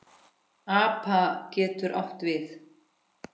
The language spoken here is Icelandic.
APA getur átt við